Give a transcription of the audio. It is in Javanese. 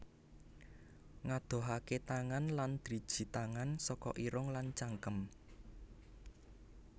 Ngadohaké tangan lan driji tangan saka irung lan cangkem